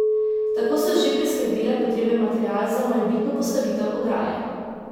Tako so že priskrbele potreben material za morebitno postavitev ograje.